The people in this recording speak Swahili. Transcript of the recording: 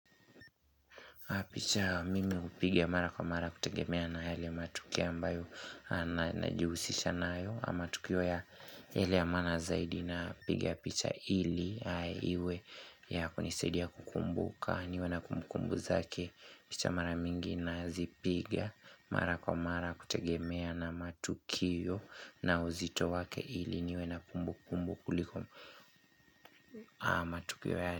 Picha mimi hupiga mara kwa mara kutegemea na yale matukio ambayo na jihusisha nayo ama tukio ya hali ya maana zaidi napiga picha ili Iwe ya kunisidia kukumbuka niwe na kumbukumbu zake picha mara mingi na zipiga mara kwa mara kutegemea na matukio na uzito wake ili niwe na kumbu kumbu kuliko matukio yale.